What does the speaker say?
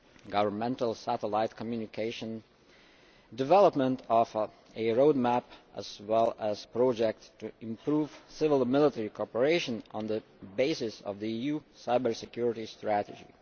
governmental satellite communication and the development of a road map, as well as projects to improve civil and military cooperation on the basis of the EU cyber security strategy.